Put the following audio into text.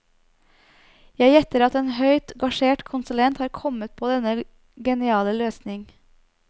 Jeg gjetter at en høyt gasjert konsulent har kommet på denne geniale løsning.